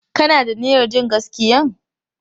Ka na da niyyar jin gaskiyan?